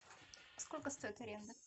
сколько стоит аренда